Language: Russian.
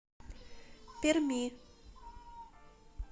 перми